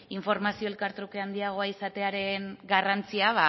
informazio elkartruke handiagoa izatearen garrantzia